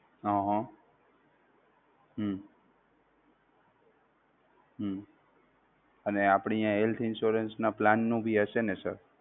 હમ હમ હમ અને આપણી આ health insurance ના plan નું ભી હશે ને sir